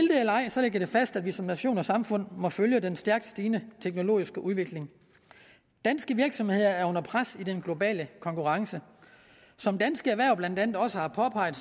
det det fast at vi som nation og samfund må følge den stærkt stigende teknologiske udvikling danske virksomheder er under pres i den globale konkurrence som dansk erhverv blandt andet også har påpeget